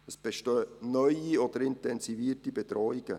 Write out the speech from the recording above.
Es bestehen neue oder intensivierte Bedrohungen.